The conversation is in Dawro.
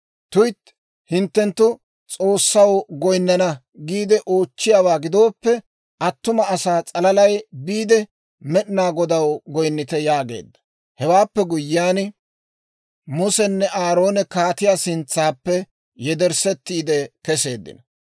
Tuytti, hinttenttu, ‹S'oossaw goynnana› giide oochchiyaawaa gidooppe, attuma asaa s'alaalay biide Med'inaa Godaw goynnite» yaageedda. Hewaappe guyyiyaan Musenne Aaroone kaatiyaa sintsaappe yederssetiide kesseeddino.